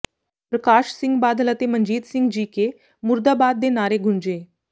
ਪ੍ਰਕਾਸ਼ ਸਿੰਘ ਬਾਦਲ ਅਤੇ ਮਨਜੀਤ ਸਿੰਘ ਜੀਕੇ ਮੁਰਦਾਬਾਦ ਦੇ ਨਾਅਰੇ ਗੂੰਜੇ